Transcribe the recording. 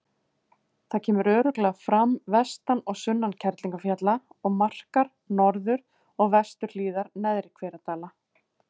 Það kemur glögglega fram vestan og sunnan Kerlingarfjalla og markar norður- og vesturhliðar Neðri-Hveradala.